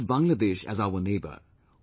We have Bangladesh as our neighbour